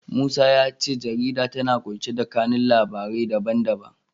Musa ya ce jarida tana ƙunshe da kanun labarai na labarai da ban da ban.